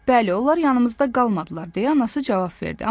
Bəli, onlar yanımızda qalmadılar deyə anası cavab verdi.